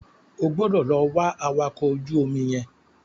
O gbọdọ̀ lọ wá awakọ̀ ojú omi yẹn.